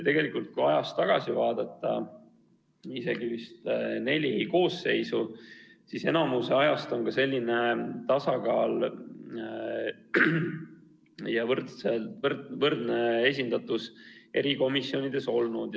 Tegelikult, kui ajas tagasi vaadata, isegi vist neli koosseisu, siis enamiku ajast on ka selline tasakaal ja võrdne esindatus erikomisjonides olnud.